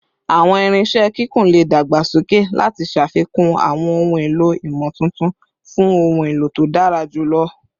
Awọn irinṣẹ kikun le dagbasoke lati ṣafikun awọn ohun elo imotuntun fun ohun elo to dara julọ